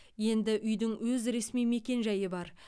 енді үйдің өз ресми мекен жайы бар